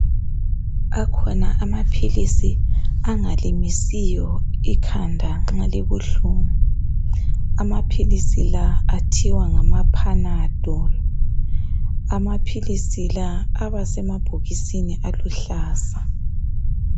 Akhona amaphilisi angalimisiyo ikhanda nxa libuhlungu , amaphilisi la athiwa ngama Panadol , amaphilisi la aba semabokisini aluhlaza